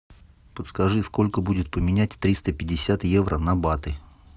подскажи сколько будет поменять триста пятьдесят евро на баты